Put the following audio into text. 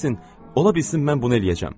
ola bilsin mən bunu eləyəcəm.